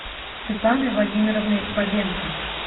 светланой владимировной бабенко